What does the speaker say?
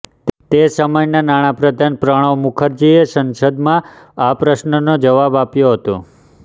તે સમયના નાણાપ્રધાન પ્રણવ મુખરજીએ સંસદમાં આ પ્રશ્નનો જવાબ આપ્યો હતો